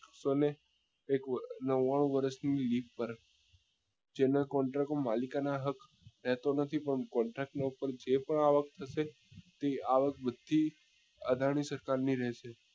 સો ને એક નવ્વાણું વર્ષ ની પર જેનો contract હું માલિકાના હક લેતો નથી પણ contract ના પર જે પણ આવક થશે તે આવક બધી અદાની સરકાર ની રહેશે